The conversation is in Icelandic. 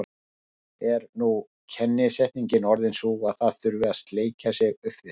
Er nú kennisetningin orðin sú að það þurfi að sleikja sig upp við